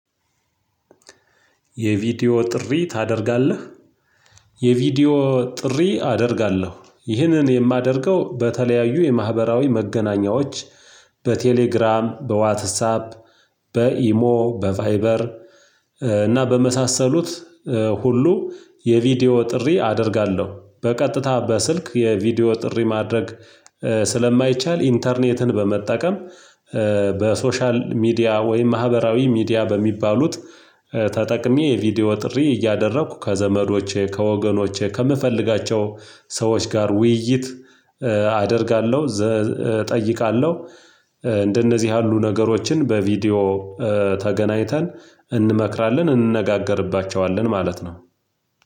የቪዲዮ ጥሪ ታደርጋለህ? የቪዲዮ ጥሪ አደርጋለሁ፤ ይህንን የማደርገው በተለያዩ የማህበራዊ መገናኛዎች በቴሌግራም፣ በዋትሳፕ፣ በኢሞ፣ በቫይበር እና በመሳሰሉት ሁሉ የቪዲዮ ጥሪ አደርጋለሁ፤ በቀጥታ በስልክ የቪዲዮ ጥሪ ማድረግ ስለማይቻል ኢንተርኔትን በመጠቀም በሶሻል ሚዲያ ወይም ማህበራዊ ሚዲያ በሚባሉት ተጠቅሜ የቪዲዮ ጥሪ እያደረኩ ከዘመዶቼ፣ ከወገኖቼ፣ ከምፈልጋቸው ሰዎች ጋር ውይይት አደርጋለሁ፤ እጠይቃለሁ፤ እንደነዚህ ያሉ ነገሮችን በቪዲዮ ተገናኝተን እንመክራለን፤ እንነጋገርባቸዋለን ማለት ነው